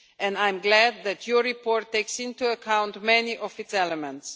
I am glad that your report takes into account many of its elements.